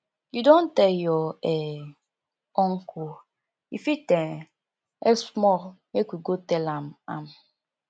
you don tell your um uncle e fit um help small make we go tell am am